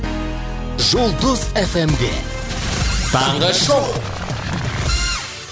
жұлдыз эф эм де таңғы шоу